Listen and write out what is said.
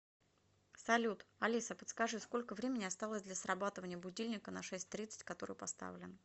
салют алиса подскажи сколько времени осталось для срабатывания будильника на шесть тридцать который поставлен